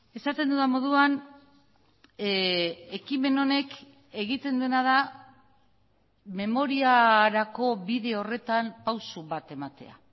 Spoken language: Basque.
esaten dudan moduan ekimen honek egiten duena da memoriarako bide horretan pausu bat ematea